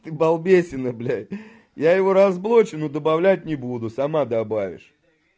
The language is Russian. ты балбесина блядь я его разблокирую но добавлять не буду сама добавишь